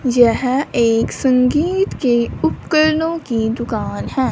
यह एक संगीत के उपकरणों की दुकान है।